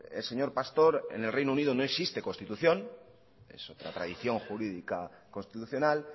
el señor pastor en el reino unido no existe constitución es la tradición jurídica constitucional